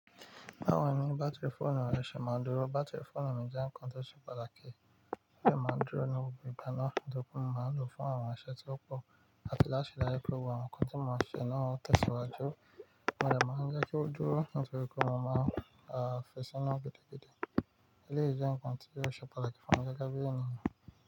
Ba wo ni bátìrì fóònù rẹ ṣe máa dúró. Bátìrì fóònù mi jẹ́ ǹkan tó ṣe pàtàkì. Ó dẹ máa ń dúró ní gbogbo ìgbà náà, nítorí mo máa lò ó fún àwọn iṣẹ́ tí ó pọ̀, àti láti ri dájú pé gbogbo àwọn nǹkan tí mo ń ṣe náà ń tẹ̀síwájú. Mo dẹ̀ máa ń jẹ́ kí ó dúró nítorí pé mo máa ń fi sínu gidi gidi. Eléyìí jẹ́ ǹkan tí ó ṣe pàtàkì fún mi gẹ́gẹ́ bí ènìyàn.